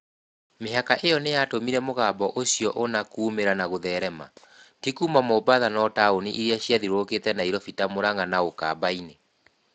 Mĩhaka ĩyo nĩ yatũmire mũgambo ũcioũna kuumĩra na gũtherema, tĩ kuuma Mombatha no taũni iria ciathiũrũkĩte Nairobi ta Murang’a na Ukambani.